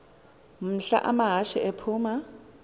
mhla amahashe aphuma